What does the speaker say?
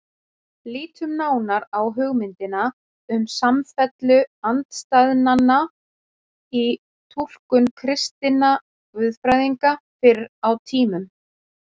Lítum nánar á hugmyndina um samfellu andstæðnanna í túlkun kristinna guðfræðinga fyrr á tímum.